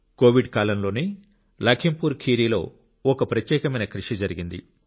Covid కాలం లోనే లఖింపూర్ ఖీరిలో ఒక ప్రత్యేకమైన కృషి జరిగింది